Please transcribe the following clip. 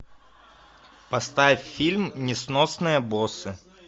поставь фильм несносные боссы